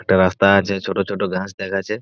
একটা রাস্তা আছে ছোট ছোট ঘাস দেখাচ্ছে।